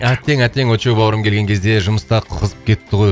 әттең әттең очоу бауырым келген кезде жұмыстар қызып кетті ғой